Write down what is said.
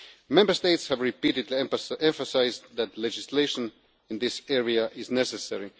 Member States have repeatedly emphasised that legislation in this area is necessary.